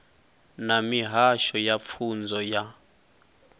na mihasho ya pfunzo ya